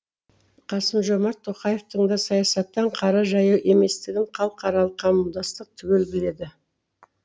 қасым жомарт тоқаевтың да саясаттан қара жаяу еместігін халықаралық қауымдастық түгел біледі